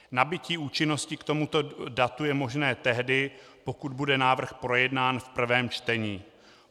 Nabytí účinnosti k tomuto datu je možné tehdy, pokud bude návrh projednán v prvém čtení.